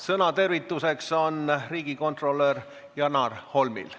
Sõna tervituseks on riigikontrolör Janar Holmil.